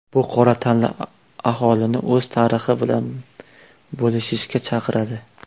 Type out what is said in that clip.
Bu qora tanli aholini o‘z tarixi bilan bo‘lishishga chaqiradi.